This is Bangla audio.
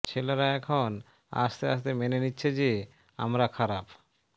ছেলেরা এখন আস্তে আস্তে মেনে নিচ্ছে যে আমরা খারাপ